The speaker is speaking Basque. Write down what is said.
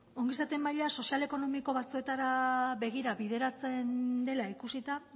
ongizate maila sozial ekonomiko batzuetara begira bideratzen dela ikusita